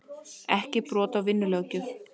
Ekki brot á vinnulöggjöf